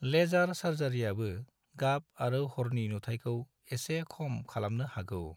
Laser सार्जारिआबो गाब आरो हरनि नुथाइखौ एसे खम खालामनो हागौ।